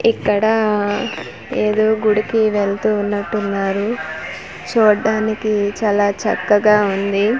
ఇక్కడ ఆఆఆ ఏదో గుడికి వెళ్తూ ఉన్నట్టు ఉన్నారు చూడ్డానికి చాలా చక్కగా ఉంది .